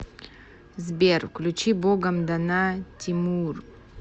сбер включи богом дана тимур